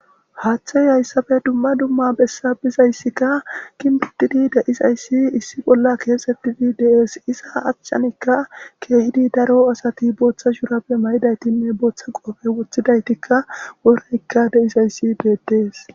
haaththey hayssafe dumma dumma bessa bizayssikka ginbitidi de'isayssi issi bolla keexettidi dees isa achchanikka keehidi daro asati booththa shurappe maydaytinne booththa qoofe woththidaytikka woreykka de7isayssi betes s